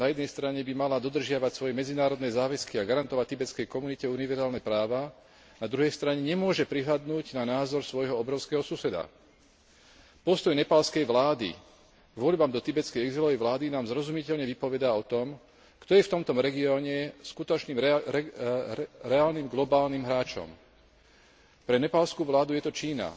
Na jednej strane by mala dodržiavať svoje medzinárodné záväzky a garantovať tibetskej komunite univerzálne práva, na druhej strane nemôže prehliadnuť názor svojho obrovského suseda. Postoj nepálskej vlády k voľbám do tibetskej exilovej vlády nám zrozumiteľne vypovedá o tom, kto je v tomto regióne skutočným reálnym, globálnym hráčom. Pre nepálsku vládu je to Čína.